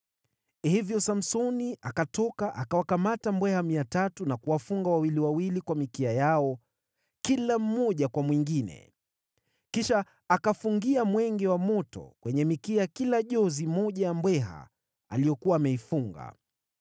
Hivyo Samsoni akatoka akawakamata mbweha 300 na kuwafunga wawili wawili kwa mikia yao kila mmoja kwa mwingine. Kisha akafungia mwenge wa moto, kwenye mikia ya kila jozi moja ya mbweha aliyokuwa ameifunga,